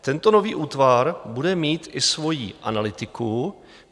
Tento nový útvar bude mít i svoji analytiku.